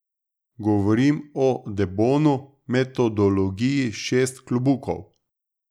Govorim o De Bono metodologiji Šest klobukov.